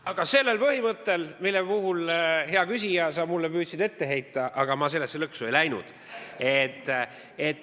Aga sellel põhimõttel, mida, hea küsija, sa püüdsid mulle ette heita – aga sellesse lõksu ma ei läinud.